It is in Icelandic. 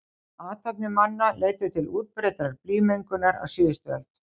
Athafnir manna leiddu til útbreiddrar blýmengunar á síðustu öld.